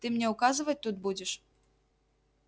ты мне указывать тут будешь